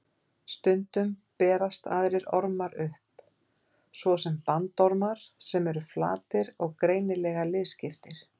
Stundum berast aðrir ormar upp, svo sem bandormar sem eru flatir og greinilega liðskiptir.